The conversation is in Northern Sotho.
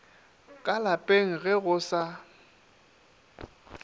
ka lapeng ge go sa